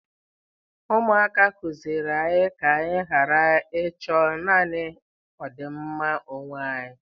Ụmụaka kụziiri anyị ka anyị ghara ịchọ naanị ọdịmma onwe anyị.